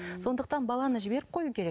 сондықтан баланы жіберіп қою керек